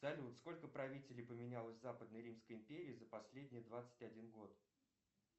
салют сколько правителей поменялось в западной римской империи за последние двадцать один год